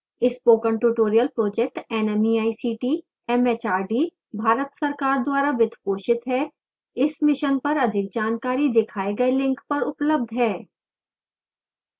spoken tutorial project nmeict mhrd Bharat सरकार द्वारा वित्त पोषित है इस मिशन पर अधिक जानकारी दिखाए गए लिंक पर उपलब्ध है